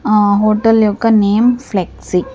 ఆ హోటల్ యొక్క name flexi .